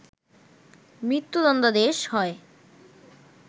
মৃত্যুদন্ডাদেশ হয়